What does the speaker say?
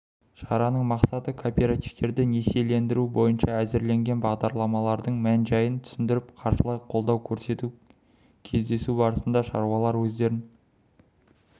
шараның мақсаты кооперативтерді несиелендіру бойынша әзірленген бағдарламалардың мән-жайын түсіндіріп қаржылай қолдау көрсету кездесу барысында шаруалар өздерін